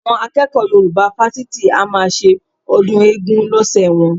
Àwọn akẹ́kọ̀ọ́ Yorùbá fásitì a máa ṣe ọdún eégún lọ́sẹ̀ wọn